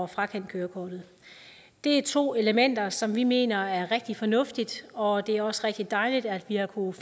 frakendt kørekortet det er to elementer som vi mener er rigtig fornuftige og det er også rigtig dejligt at vi har kunnet